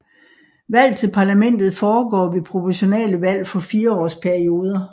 Valg til parlamentet foregår ved proportionale valg for fireårs perioder